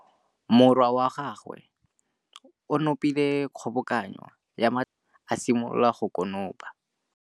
Morwa wa gagwe o nopile kgobokanô ya matlapa a le tlhano, a simolola go konopa.